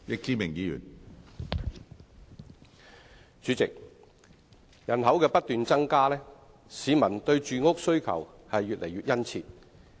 主席，人口不斷增加，市民對住屋的需求越來越殷切。